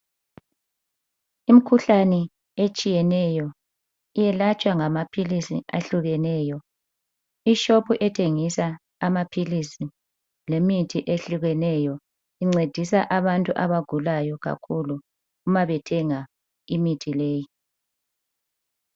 Imikhuhlane etshiyeneyo iyelatshwa ngamaphilisi ahlukeneyo. Ishopu ethengisa amaphilisi lemithi ehlukeneyo incedisa abantu abagulayo kakhulu umabethenga imithi leyi.